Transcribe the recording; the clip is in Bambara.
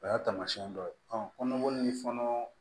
O y'a taamasiyɛn dɔ ye kɔnɔboli